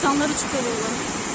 İnsanları çıxarırlar.